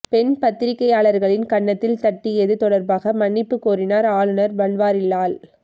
பெண் பத்திரிக்கையாளரின் கன்னத்தில் தட்டியது தொடர்பாக மன்னிப்பு கோரினார் ஆளுநர் பன்வாரிலால்